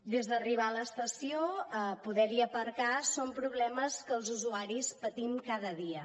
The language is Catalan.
des d’arribar a l’estació a poder hi aparcar són problemes que els usuaris patim cada dia